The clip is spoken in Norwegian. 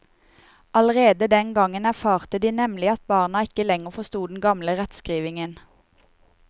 Allerede den gang erfarte de nemlig at barna ikke lenger forsto den gamle rettskrivningen.